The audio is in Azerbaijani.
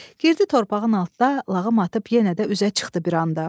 Girdi torpağın altda, lağım atıb yenə də üzə çıxdı bir anda.